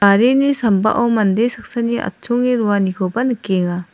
garini sambao mande saksani atchonge roanikoba nikenga.